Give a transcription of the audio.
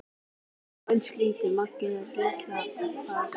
Já en Stína, Mangi er. Lilla þagnaði.